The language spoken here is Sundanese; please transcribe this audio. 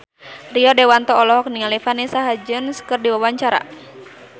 Rio Dewanto olohok ningali Vanessa Hudgens keur diwawancara